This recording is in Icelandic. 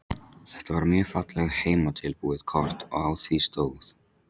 Þetta var mjög fallegt heimatilbúið kort og á því stóð